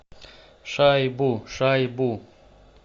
шайбу шайбу